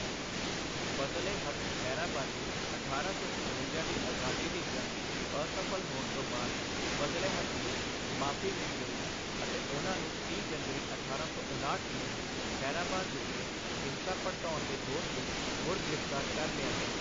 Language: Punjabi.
ਫਜ਼ਲ ਏ ਹੱਕ ਖੈਰਾਬਾਦੀ ਅਠਾਰਾਂ ਸੌ ਸਤਵੰਜਾ ਦੀ ਆਜ਼ਾਦੀ ਦੀ ਜੰਗ ਅਸਫ਼ਲ ਹੋਣ ਤੋਂ ਬਾਅਦ ਫਜ਼ਲ ਏ ਹੱਕ ਨੂੰ ਮਾਫ਼ੀ ਮਿਲ ਗਈ ਅਤੇ ਉਹਨਾਂ ਨੂੰ ਤੀਹ ਜਨਵਰੀ ਅਠਾਰਾਂ ਸੌ ਉਣਾਹਟ ਨੂੰ ਖੈਰਾਬਾਦ ਵਿਖੇ ਹਿੰਸਾ ਭੜਕਾਉਣ ਦੇ ਦੋਸ਼ ਵਿੱਚ ਮੁੜ ਗ੍ਰਿਫਤਾਰ ਕਰ ਲਿਆ ਗਿਆ।